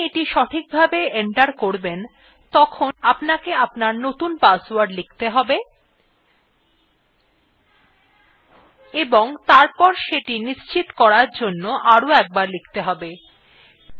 যখন আপনি এটি সঠিকভাবে enter করবেন তখন আপনাকে আপনার নতুন password লিখতে have এবং তারপর সেটি নিশ্চিত করার জন্য আরো একবার লিখতে have